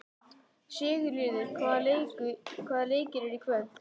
Sigurliði, hvaða leikir eru í kvöld?